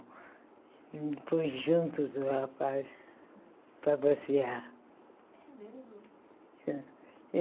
Ele me pôs junto do rapaz para passear.